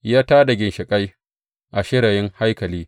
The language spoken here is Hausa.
Ya ta da ginshiƙai a shirayin haikali.